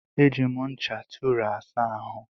E ji me ncha Tụra asa ahụ